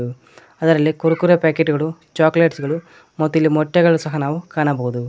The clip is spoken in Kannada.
ಅದರಲ್ಲಿ ಕುರುಕುರೆ ಪ್ಯಾಕೆಟ್ ಗಳು ಚಾಕ್ಲೇಟ್ಸ್ ಗಳು ಮತ್ತು ಇಲ್ಲಿ ಮೊಟ್ಟೆಗಳು ಸಹ ನಾವು ಕಾಣಬಹುದು.